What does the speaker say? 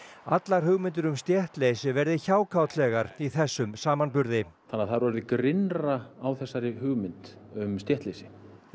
allar hugmyndir um stéttleysi verði hjákátlegar í þessum samanburði þannig að það er orðið grynnra á þessari hugmynd um stéttleysi